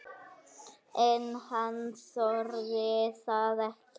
En hann þorði það ekki.